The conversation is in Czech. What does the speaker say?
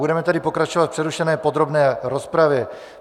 Budeme tedy pokračovat v přerušené podrobné rozpravě.